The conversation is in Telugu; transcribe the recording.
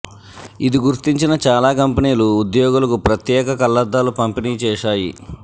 ఇది గుర్తించిన చాలా కంపెనీలు ఉద్యోగులకు ప్రత్యేక కళ్లద్దాలు పంపిణీ చేశాయి